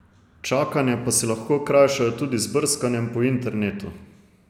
Čakanje pa si lahko krajšajo tudi z brskanjem po internetu.